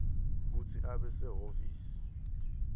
kutsi abe sehhovisi